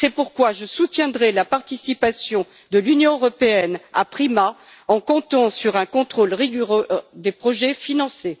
C'est pourquoi je soutiendrai la participation de l'Union européenne à PRIMA, en comptant sur un contrôle rigoureux des projets financés.